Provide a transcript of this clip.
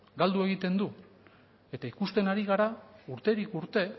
galdu egiten du eta ikusten ari gara urterik urte